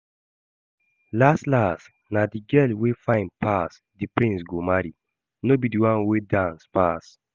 Las las na the girl wey fine pass the prince go marry, no be the one wey dance pass